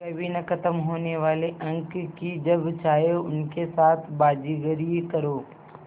कभी न ख़त्म होने वाले अंक कि जब चाहे उनके साथ बाज़ीगरी करो